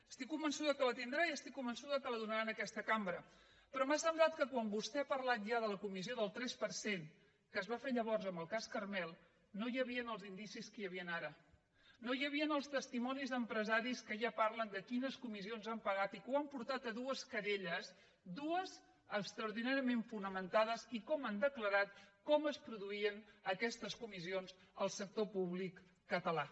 estic convençuda que la tindrà i estic convençuda que la donarà en aquesta cambra però m’ha semblat que quan vostè ha parlat ja de la comissió del tres per cent que es va fer llavors en el cas carmel no hi havien els indicis que hi han ara no hi havien els testimonis d’empresaris que ja parlen de quines comissions han pagat i que ho han portat a dues querelles dues d’extraordinàriament fonamentades i com han declarat com es pro duïen aquestes comissions al sector públic català